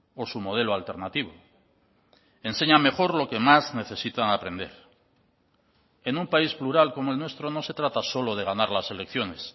o su modelo alternativo enseña mejor lo que más necesitan aprender en un país plural como el nuestro no se trata solo de ganar las elecciones